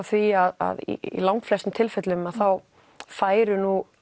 því að í langflestum tilfellum færu nú